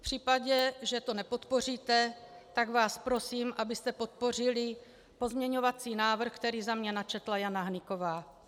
V případě, že to nepodpoříte, tak vás prosím, abyste podpořili pozměňovací návrh, který za mě načetla Jana Hnyková.